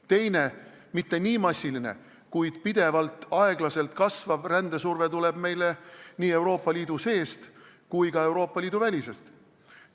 Teine, mitte nii massiline, aeglaselt, kuid pidevalt kasvav ränne tuleb nii Euroopa Liidu seest kui ka väljastpoolt Euroopa Liitu.